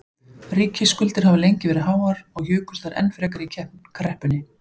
Ríkisskuldir hafa lengi verið háar og jukust þær enn frekar í kreppunni.